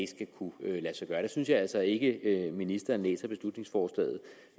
skal kunne lade sig gøre der synes jeg altså ikke at ministeren læser beslutningsforslaget